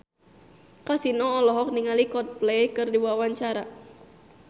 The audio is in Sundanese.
Kasino olohok ningali Coldplay keur diwawancara